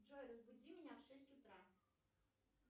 джой разбуди меня в шесть утра